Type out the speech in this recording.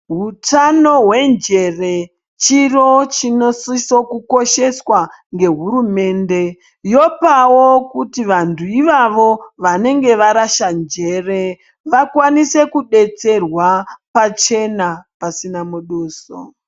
Hutano hwenjere chiro chinosisa kukosheswa nehurumende yopawo kuti vantu ivavo vanenge varasa njere vakwanise kudetserwa pachena pasina muduso.